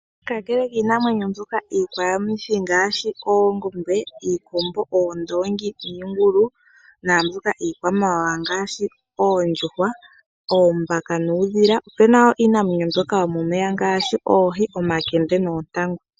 Kakele kiinamwenyo mbyoka iiyakwayamithi ngaashi oongombe, iikombo, oondoongi niingulu naambyoka iikwamawawa ngaashi oondjuhwa, oombaka nuudhila. Opuna wo iinamwenyo mbyoka yomomeya ngaashi oohi, omakende noontangu.